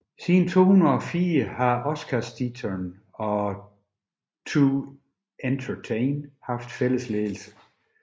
Siden 2004 har Oscarsteatern og 2Entertain haft fælles ledelse